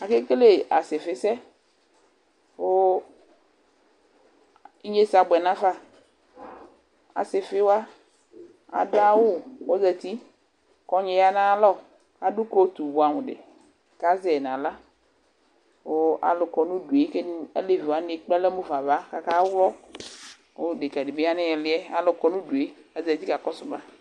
Ake kele asifisɛ Ku ignesɛ abuɛ nu afa Asifi wa aɖu awu, ku ɔzati Ku ɔgni ya nu ayu alɔ, ku aɖu kotu buamu ɖi, ku azɛ yi nu aɣla Ku ãlu kɔ nu uɖu yɛ Ku ɛdin, aleʋi waní ekple alɔ mufa nu ãvã, ku aka wlɔ Ku ɖeka ɖi bi ya nu iilíh yɛ Ku ãlu kɔ nu uɖu yɛ Ku azati ka kɔsu mã